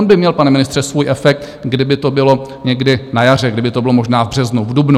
On by měl, pane ministře, svůj efekt, kdyby to bylo někdy na jaře, kdyby to bylo možná v březnu, v dubnu.